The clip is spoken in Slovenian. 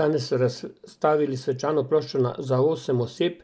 Danes so razstavili svečano ploščo za osem oseb,